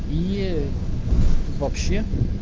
е вообще